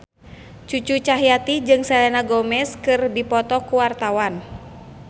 Cucu Cahyati jeung Selena Gomez keur dipoto ku wartawan